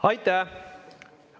Aitäh!